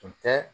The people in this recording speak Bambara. Tun tɛ